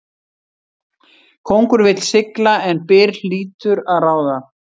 Kóngur vill sigla en byr hlýtur að ráða.